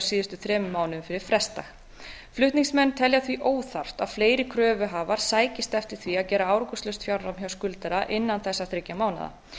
síðustu þremur mánuðum fyrir frestdag flutningsmenn telja því óþarft að fleiri kröfuhafar sækist eftir því að gera árangurslaust fjárnám hjá skuldara innan þessara þriggja mánaða